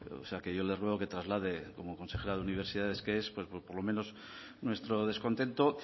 o sea que yo le ruego que traslade como consejera de universidades que es por lo menos nuestro descontento